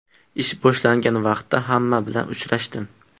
Ish boshlangan vaqtda hamma bilan uchrashdim.